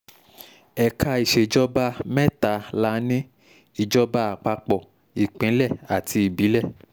ẹ̀ka ìṣèjọba um mẹ́ta la ní ìjọba àpapọ̀ ìpínlẹ̀ àti ìbílẹ̀